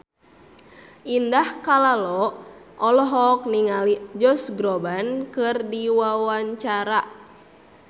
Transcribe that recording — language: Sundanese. Indah Kalalo olohok ningali Josh Groban keur diwawancara